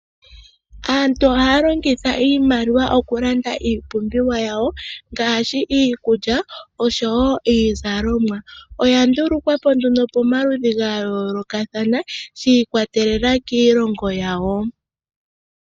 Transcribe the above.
Aantu ohaya longitha iimaliwa oku landa iipumbiwa yawo ngashi iikulya oshowo iizalomwa. Oya ndulukwapo nduno pomaludhi ga yolokathana shi ikwa telela kiilongo yawo.